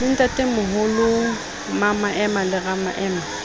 le ntatemoholo mmamaema le ramaema